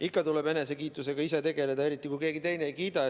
Ikka tuleb enesekiitusega tegeleda, eriti kui keegi teine ei kiida.